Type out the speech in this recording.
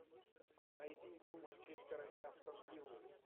найди игру манчестера и астон виллы